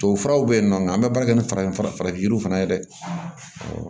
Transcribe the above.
Tubabufuraw bɛ yen nɔ an bɛ baara kɛ ni farafin fura ye farafin yiriw fana ye dɛ